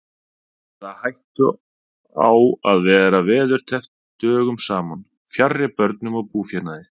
Eða hættu á að vera veðurteppt dögum saman fjarri börnum og búfénaði.